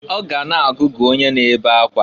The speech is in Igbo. Ọ ga na-agụgụ onye na-ebe akwa.